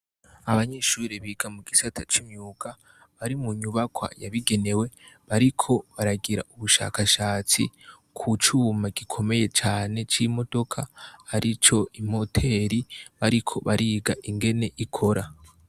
Abanyeshure biga mu gisata c'imyuga bari mu nyubakwa yabigenewe, bariko baragira ubushakashatsi ku cuma gikomeye cane c'imodoka arico imoteri, bariko bariga ingene ikora.